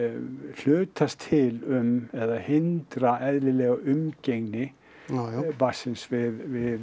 hlutast til um eða hindra eðlilega umgengni barnsins við